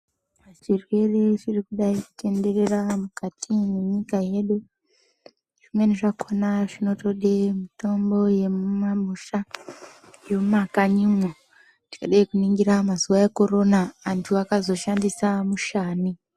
Zvirwere zviri kudai kutenderera mukati menyika yedu zvimweni zvakona zvinoda mitombo yemumamusha yemumakanyimo tikada kuningira mazuwa ekorona antu akazoshandisa mushani.